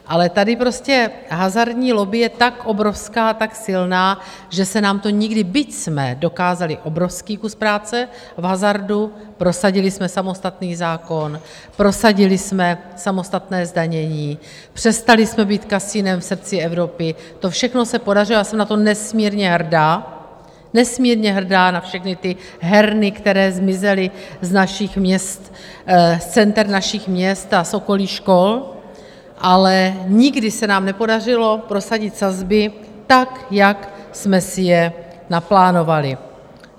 Ale tady prostě hazardní lobby je tak obrovská, tak silná, že se nám to nikdy, byť jsme dokázali obrovský kus práce v hazardu - prosadili jsme samostatný zákon, prosadili jsme samostatné zdanění, přestali jsme být kasinem v srdci Evropy, to všechno se podařilo, já jsem na to nesmírně hrdá, nesmírně hrdá na všechny ty herny, které zmizely z našich měst, z center našich měst a z okolí škol - ale nikdy se nám nepodařilo prosadit sazby tak, jak jsme si je naplánovali.